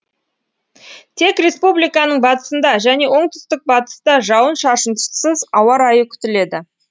тек республиканың батысында және оңтүстік батыста жауын шашынсыз ауа райы күтіледі